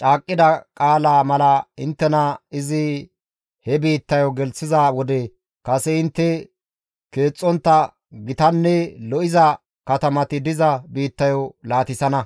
caaqqida qaalaa mala inttena izi he biittayo gelththiza wode kase intte keexxontta gitanne lo7iza katamati diza biittayo laatissana.